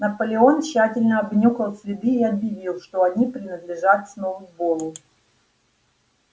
наполеон тщательно обнюхал следы и объявил что они принадлежат сноуболлу